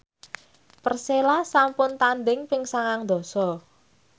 Persela sampun tandhing ping sangang dasa